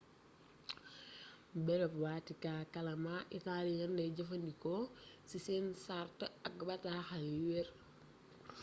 bërëb watikaa kàllaama italien lay jëfandikoo ci seen sart ak bataaxal yu werr